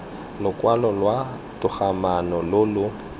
lokwalo lwa togamaano lo lo